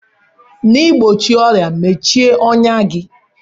N'igbochie ọrịa, mechie ọnyá gị.